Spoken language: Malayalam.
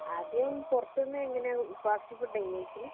ആദ്യം പുറത്ത് നിന്നെങ്ങനെയാ. ഫാസ്റ്റ് ഫുഡാ ഇങ്ങ കഴിക്കല്.